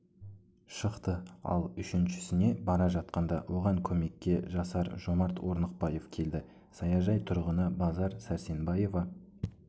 шықты ал үшіншісіне бара жатқанда оған көмекке жасар жомарт орнықбаев келді саяжай тұрғыны базар сәрсенбаева